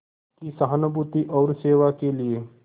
की सहानुभूति और सेवा के लिए